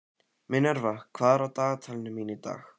Minerva, hvað er á dagatalinu mínu í dag?